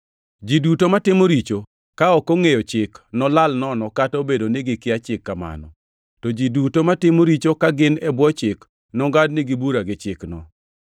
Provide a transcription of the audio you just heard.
Ji duto matimo richo, ka ok ongʼeyo chik nolal nono kata obedo ni gikia chik kamano, to ji duto matimo richo ka gin e bwo Chik nongʼadnigi bura gi Chikno.